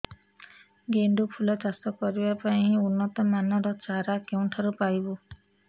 ଗେଣ୍ଡୁ ଫୁଲ ଚାଷ କରିବା ପାଇଁ ଉନ୍ନତ ମାନର ଚାରା କେଉଁଠାରୁ ପାଇବୁ